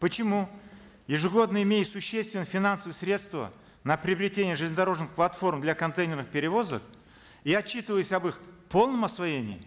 почему ежегодно имея существенные финансовые средства на приобретение железнодорожных платформ для контейнерных перевозок и отчитываясь об их полном освоении